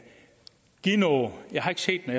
give noget jeg har ikke set den